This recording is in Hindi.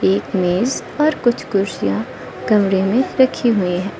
एक मेज और कुछ कुर्सियां कमरे में रखी हुई है।